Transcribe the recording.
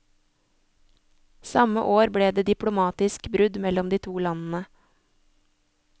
Samme år ble det diplomatisk brudd mellom de to landene.